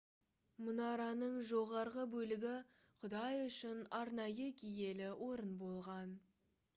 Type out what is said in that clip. мұнараның жоғарғы бөлігі құдай үшін арнайы киелі орын болған